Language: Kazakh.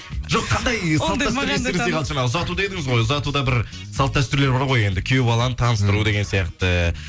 жоқ қандай жаңа ұзату дедіңіз ғой ұзатуда бір салт дәстүрлер бар ғой енді күйеу баланы таныстыру деген сияқты